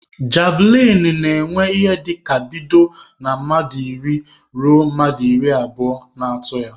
Javlịn na-enwe ịhe dịka bido na mmadụ iri ruo mmadụ iri abụo na-atụ ya